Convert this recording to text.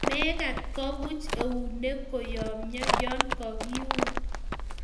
mekat kebuch eunek koyomyo ya kakeun